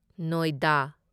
ꯅꯣꯢꯗꯥ